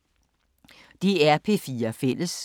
DR P4 Fælles